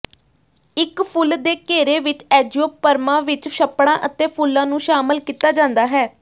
ਇੱਕ ਫੁੱਲ ਦੇ ਘੇਰੇ ਵਿੱਚ ਐਂਜੀਓਪਰਮਾਂ ਵਿੱਚ ਛੱਪੜਾਂ ਅਤੇ ਫੁੱਲਾਂ ਨੂੰ ਸ਼ਾਮਲ ਕੀਤਾ ਜਾਂਦਾ ਹੈ